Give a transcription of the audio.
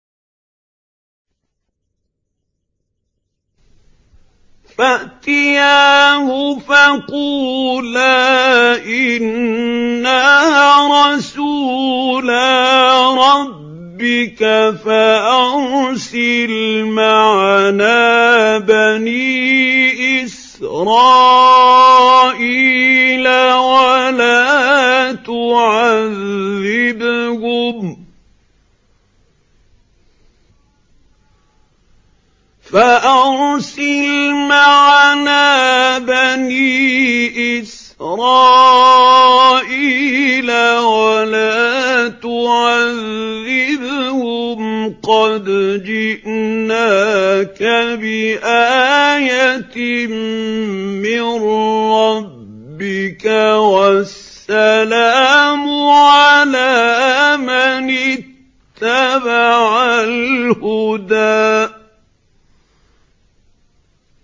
فَأْتِيَاهُ فَقُولَا إِنَّا رَسُولَا رَبِّكَ فَأَرْسِلْ مَعَنَا بَنِي إِسْرَائِيلَ وَلَا تُعَذِّبْهُمْ ۖ قَدْ جِئْنَاكَ بِآيَةٍ مِّن رَّبِّكَ ۖ وَالسَّلَامُ عَلَىٰ مَنِ اتَّبَعَ الْهُدَىٰ